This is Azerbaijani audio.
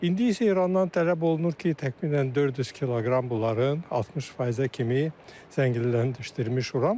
İndi isə İrandan tələb olunur ki, təxminən 400 kq bunların 60%-ə kimi zənginləşdirmiş uran var.